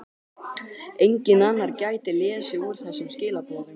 Enginn annar gæti lesið úr þessum skilaboðum.